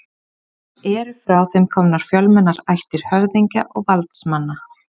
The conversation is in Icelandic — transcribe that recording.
Eru frá þeim komnar fjölmennar ættir höfðingja og valdsmanna.